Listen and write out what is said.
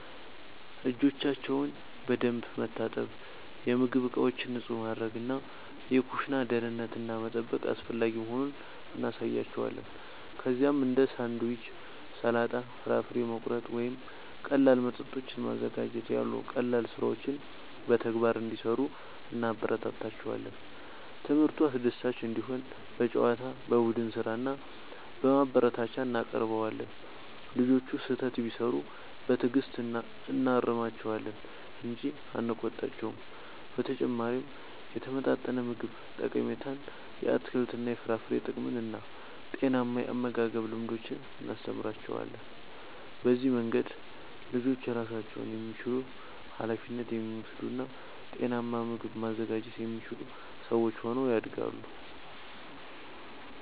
እጆቻቸውን በደንብ መታጠብ፣ የምግብ ዕቃዎችን ንጹህ ማድረግ እና የኩሽና ደህንነትን መጠበቅ አስፈላጊ መሆኑን እናሳያቸዋለን። ከዚያም እንደ ሳንድዊች፣ ሰላጣ፣ ፍራፍሬ መቁረጥ ወይም ቀላል መጠጦችን ማዘጋጀት ያሉ ቀላል ሥራዎችን በተግባር እንዲሠሩ እናበረታታቸዋለን። ትምህርቱ አስደሳች እንዲሆን በጨዋታ፣ በቡድን ሥራ እና በማበረታቻ እናቀርበዋለን። ልጆቹ ስህተት ቢሠሩ በትዕግሥት እናርማቸዋለን እንጂ አንቆጣቸውም። በተጨማሪም የተመጣጠነ ምግብ ጠቀሜታን፣ የአትክልትና የፍራፍሬ ጥቅምን እና ጤናማ የአመጋገብ ልምዶችን እናስተምራቸዋለን። በዚህ መንገድ ልጆች ራሳቸውን የሚችሉ፣ ኃላፊነት የሚወስዱ እና ጤናማ ምግብ ማዘጋጀት የሚችሉ ሰዎች ሆነው ያድጋሉ።